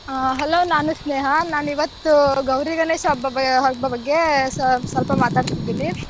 ಆಹ್ hello ನಾನು ಸ್ನೇಹ ನಾನಿವತ್ತು ಗೌರಿ ಗಣೇಶ ಹಬ್ಬ ಬ~ ಹಬ್ಬ ಬಗ್ಗೆ ಸ್ವ~ ಸ್ವಲ್ಪ ಮಾತಾಡ್ತಿದಿನಿ.